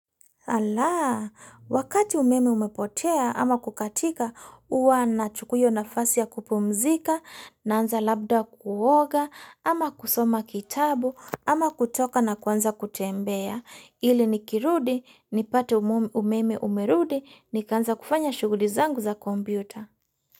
Alaa, wakati umeme umepotea ama kukatika, huwa nachukua nafasi ya kupumzika, naanza labda kuoga, ama kusoma kitabu, ama kutoka na kwanza kutembea, ili nikirudi, nipate umeme umerudi, nikaanza kufanya shughuli zangu za kompyuta.